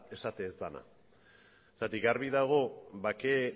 esaten ez dena argi dago bake